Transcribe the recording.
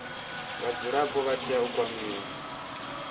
vhadzulapo vha tea u kwamiwa